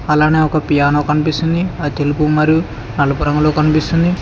అలానే ఒక పియానో కన్పిస్తుంది అది తెలుపు మరియు నలుపు రంగు లో కన్పిస్తుంది.